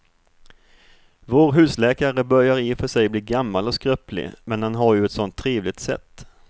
Vår husläkare börjar i och för sig bli gammal och skröplig, men han har ju ett sådant trevligt sätt!